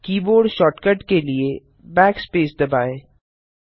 keyboard shortcut के लिए backspace दबाएँ